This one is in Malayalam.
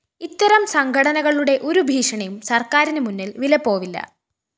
ഇത്തരം സംഘടനകളുടെ ഒരു ഭീഷണിയും സര്‍ക്കാരിന് മുന്നില്‍ വിലപ്പോവില്ല